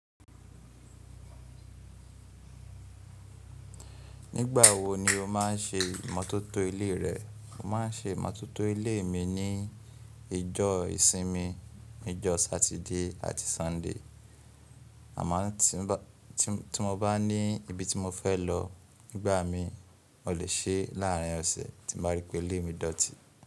Nígbà wo ni o máà ń ṣe imọ́tótó ilé rẹ? Mo máà ń ṣe imọ́tótó ilé mi ní ìjọ ìsinmi, ní ìjọ Satide àti Súndè. Àmá tí mo bá ní ibi tí mo fẹ́ lọ nígbà mi, mo lè ṣe láàárín ọ̀sẹ̀ tí mo bá rí pé ilé mi dọ̀tí.